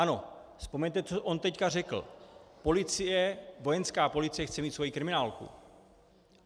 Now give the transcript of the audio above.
Ano, vzpomeňte, co on teď řekl - policie, Vojenská policie chce mít svoji kriminálku.